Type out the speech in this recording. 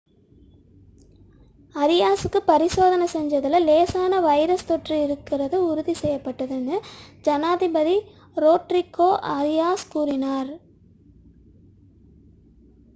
அரியாஸுக்கு பரிசோதனை செய்ததில் லேசான வைரஸ் தொற்று இருப்பது உறுதி செய்யப்பட்டது என்று ஜனாதிபதி ரோட்ரிகோ அரியாஸ் கூறினார்